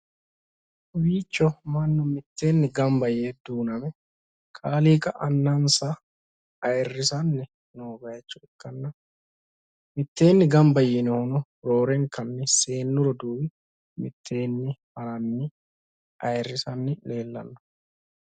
Kawiicho mannu mitteenni gamba yee duuname kaaliiqa annansa ayiirrisanni noo bayiicho ikkanna, mitteenni gamba yiinohuno roorenka seennu roduuwi mitteenni haranni ayiirrisanni leellanno.